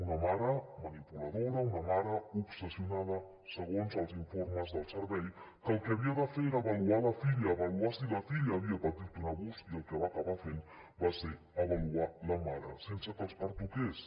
una mare manipuladora una mare obsessionada segons els informes del servei que el que havia de fer era avaluar la filla avaluar si la filla havia patit un abús i que el que va acabar fent va ser avaluar la mare sense que els pertoqués